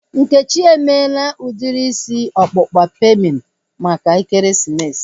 Nkechi emela udiri isi ọkpụkpa pemin maka ekeresimesi